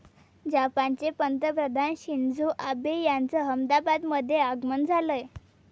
जपानचे पंतप्रधान Shinzo Abe यांचं अहमदाबादमध्ये आगमन झालंय.